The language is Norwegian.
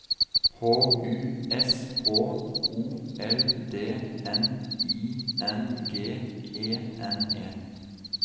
H U S H O L D N I N G E N E